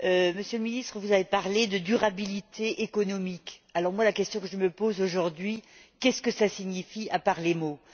Monsieur le Ministre, vous avez parlé de durabilité économique. La question que je me pose aujourd'hui est de savoir ce que cela signifie, à part les mots.